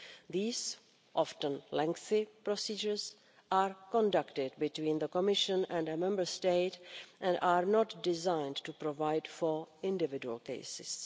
These often lengthy procedures are conducted between the Commission and a Member State and are not designed to provide for individual cases.